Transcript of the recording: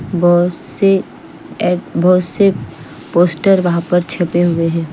बोहोत से ऐड बहोत से पोस्टर वहा पर छपे हुए है।